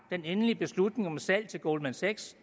den endelige beslutning om et salg til goldman sachs